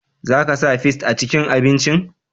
Za ka sa fis a cikin abincin?